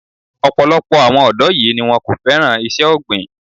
Ọ̀pọ̀lọpọ̀ àwọn ọ̀dọ́ yìí ni wón kò féràn iṣẹ́ ọ̀gbìn.